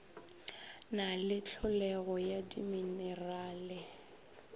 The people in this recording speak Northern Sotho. na le tlholego ya diminerale